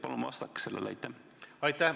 Palun vastake sellele!